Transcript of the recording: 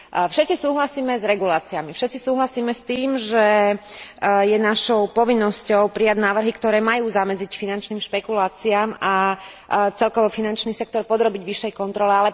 Všetci súhlasíme s reguláciami, všetci súhlasíme s tým, že je našou povinnosťou prijať návrhy, ktoré majú zamedziť finančným špekuláciám a celkovo finančný sektor podrobiť vyššej kontrole.